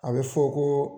A bɛ fɔ ko